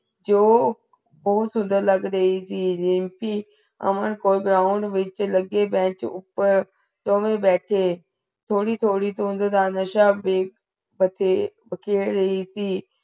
ਜੋ ਬਹੁਤ ਸੁੰਦਰ ਲਗ ਰਹੀ ਥੀ ਰੀਮਪੀ ਅਮਨ ਕੋ Ground ਵਿਚ ਲਗੇ Bench ਉਪਰ ਦੋਵੇ ਭੇਟੇ ਥੋੜੀ ਥੋੜੀ ਧੁੰਦ ਦਾ ਨਸ਼ਾ ਵੇਖ ਪਤੇ ਬਖੇਰ ਰਹੀ ਥੀ